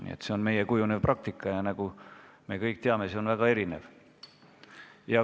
Nii et see on meie kujunev praktika ja nagu me kõik teame, on see väga erinev.